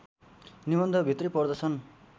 निबन्ध भित्रै पर्दछन्